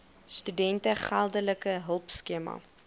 studente geldelike hulpskema